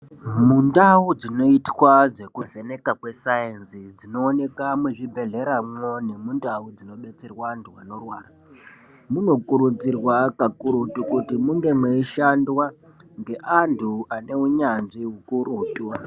Mundau dzinoitwa dzekuvheneka kwe sayenzi dzinooneka muzvibhedhlera mwo nemundau dzinobetserwa antu anorwara, munokurudzirwa kakurutu kuti munge mweishandwa ngeantu aneunyanzvi hukurutu.